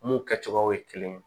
Mun kɛcogoyaw ye kelen ye